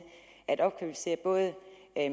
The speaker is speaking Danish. at opkvalificere både